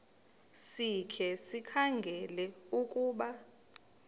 sikhe sikhangele ukuba